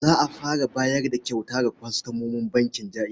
Za a fara bayar da kyauta ga kwastomomin bankin Jaiz.